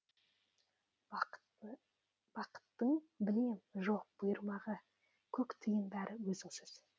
бақыттың білем жоқ бұйырмағы көк тиын бәрі өзіңсіз